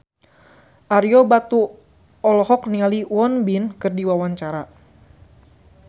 Ario Batu olohok ningali Won Bin keur diwawancara